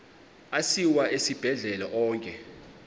asiwa esibhedlele onke